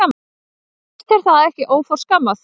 Finnst þér það ekki óforskammað?